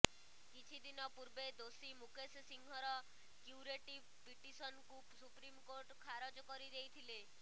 କିଛିଦିନ ପୂର୍ବେ ଦୋଷୀ ମୁକେଶ ସିଂହର କ୍ୟୁରେଟିଭ୍ ପିଟିସନକୁ ସୁପ୍ରିମକୋର୍ଟ ଖାରଜ କରିଦେଇଥିଲେ